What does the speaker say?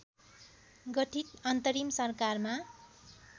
गठित अन्तरिम सरकारमा